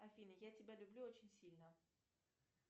афина я тебя люблю очень сильно